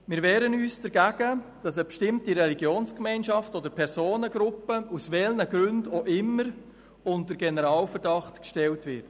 Wir wehren uns dagegen, dass eine bestimmte Religionsgemeinschaft oder Personengruppe – aus welchen Gründen auch immer – unter Generalverdacht gestellt wird.